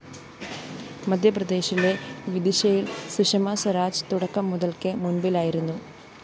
മധ്യപ്രദേശിലെ വിദിശയില്‍ സുഷമ സ്വരാജ്‌ തുടക്കം മുതല്‍ക്കെ മുന്‍പിലായിരുന്നു